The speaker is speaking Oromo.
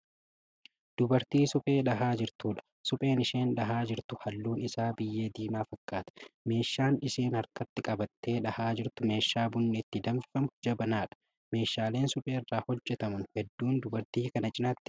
Dubartii suphee dhahaa jirtudha. supheen isheen dhahaa jirtu halluun Isaa biyyee diimaa fakkkata. meeshaan ishaan harkatti qabattee dhahaa jirtu meeshaa bunni ittiin danfifamu jabanaadha. meeshaaleen supheerraa hojjatamanu hedduun dubartii Kana cinaatti baay'inaan argamu.